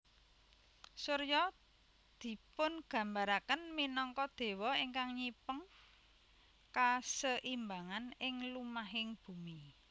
Surya dipungambaraken minangka déwa ingkang nyipeng kaseimbangan ing lumahing bumi